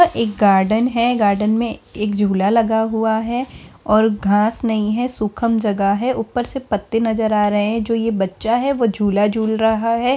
यहाँ एक गार्डन है गार्डन में एक झूला लगा हुआ है और घास नहीं है सुखम जगह है ऊपर से पत्ते नज़र आ रहे हैं जो ये बच्चा है झूला झूल रहा है।